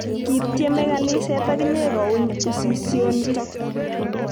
Kiitiemei kaniset akine kouny usisionitok.